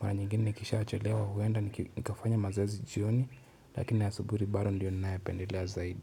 Mara nyingine nikisha chelewa huenda nikafanya mazoezi jioni, lakini asubui bado ndiyo ninayo pendelea zaidi.